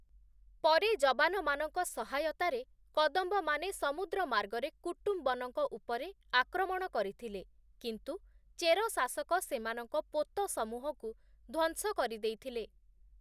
ପରେ ଯବାନମାନଙ୍କ ସହାୟତାରେ, କଦମ୍ବମାନେ ସମୁଦ୍ର ମାର୍ଗରେ କୁଟ୍ଟୁବନଙ୍କ ଉପରେ ଆକ୍ରମଣ କରିଥିଲେ, କିନ୍ତୁ ଚେର ଶାସକ ସେମାନଙ୍କ ପୋତସମୂହକୁ ଧ୍ୱଂସ କରିଦେଇଥିଲେ ।